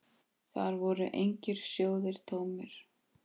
Þar voru engir sjóðir tómir.